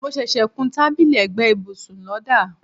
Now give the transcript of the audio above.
mo ṣẹṣẹ kún tábìlì ẹ̀gbẹ́ ibùsùn lọ́dà